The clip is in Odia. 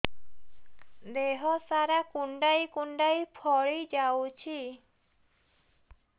ଦେହ ସାରା କୁଣ୍ଡାଇ କୁଣ୍ଡାଇ ଫଳି ଯାଉଛି